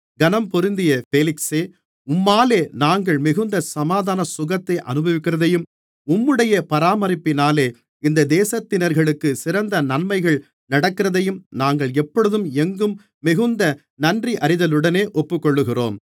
கனம்பொருந்திய பேலிக்ஸே உம்மாலே நாங்கள் மிகுந்த சமாதான சுகத்தை அநுபவிக்கிறதையும் உம்முடைய பராமரிப்பினாலே இந்த தேசத்தினர்களுக்கு சிறந்த நன்மைகள் நடக்கிறதையும் நாங்கள் எப்பொழுதும் எங்கும் மிகுந்த நன்றியறிதலுடனே ஒப்புக்கொள்ளுகிறோம்